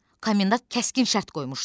Komendant kəskin şərt qoymuşdu.